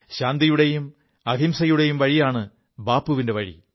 ശാന്തിയുടെയും അഹിംസയുടെയും വഴിയാണ് ബാപ്പുവിന്റെ വഴി